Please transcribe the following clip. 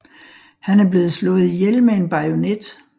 Han er blevet slået ihjel med en bajonet